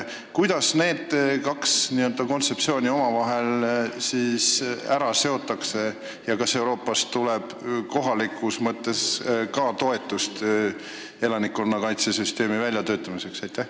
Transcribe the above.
Kuidas need kaks kontseptsiooni omavahel seotakse ja kas Euroopast tuleb ka toetust elanikkonnakaitse süsteemi kohapeal väljatöötamiseks?